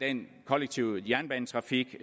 den kollektive jernbanetrafik